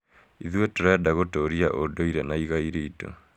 Ithuĩ tũrenda gũtũũria ũndũire na igai ritũ.